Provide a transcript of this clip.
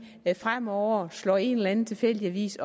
fremover slår op i en eller anden tilfældig avis